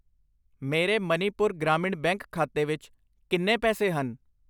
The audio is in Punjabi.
ਮੇਰੇ ਮਨੀਪੁਰ ਗ੍ਰਾਮੀਣ ਬੈਂਕ ਖਾਤੇ ਵਿੱਚ ਕਿੰਨੇ ਪੈਸੇ ਹਨ?